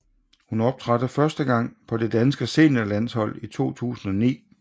Hun optrådte første gang på det danske seniorlandshold i 2009